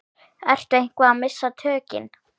Ertu eitthvað að missa tökin?